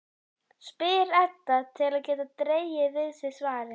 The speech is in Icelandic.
spyr Edda til að geta dregið við sig svarið.